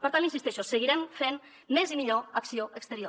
per tant hi insisteixo seguirem fent més i millor acció exterior